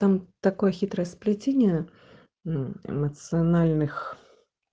там такое хитрое сплетение мм эмоциональных